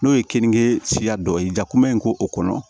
N'o ye keninge siya dɔ ye jakoya in k'o kɔnɔ